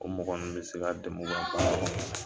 O mɔgɔ ninnu be se ka dɛmɛ u ka baara kɔnɔna la